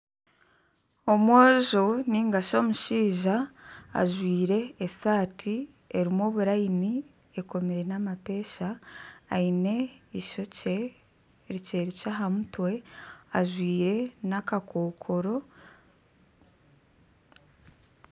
Omwojo nigashi omushaija ajwire esaati erimu obulayini ekomire n'amapesha eine ishokye rikye rikye aha mutwe ajwire n'akakokoro